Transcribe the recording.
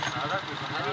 Haradadır?